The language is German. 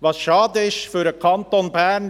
Was schade ist für den Kanton Bern: